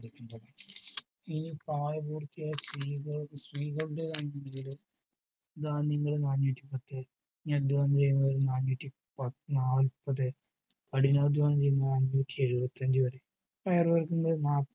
ഇനി പ്രായപൂർത്തിയായ സ്ത്രീകളുടെ സ്ത്രീകളുടെയാണെങ്കില് ധാന്യങ്ങൾ നാനൂറ്റിപത്ത് നാനൂറ്റിനാല്പത് കഠിനാധ്വാനം ചെയ്യുന്നവരാണെകിൽ നാനൂറ്റിഎഴുപത് വരെ പയറുവർഗങ്ങള് മാത്രം